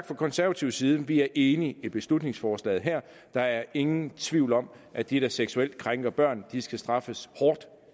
fra konservativ side enige i i beslutningsforslaget her der er ingen tvivl om at de der seksuelt krænker børn skal straffes hårdt